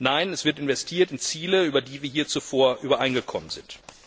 Nein, es wird investiert in Ziele, über die wir hier zuvor übereingekommen sind.